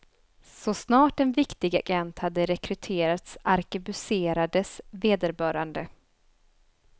Så snart en viktig agent hade rekryterats arkebuserades vederbörande.